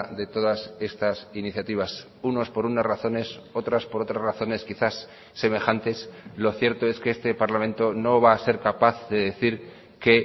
de todas estas iniciativas unos por unas razones otras por otras razones quizás semejantes lo cierto es que este parlamento no va a ser capaz de decir que